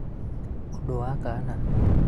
ũndũ wa kana